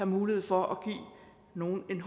mulighed for at give nogle en